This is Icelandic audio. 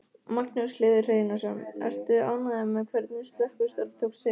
Magnús Hlynur Hreiðarsson: Ertu ánægður með hvernig slökkvistarf tókst til?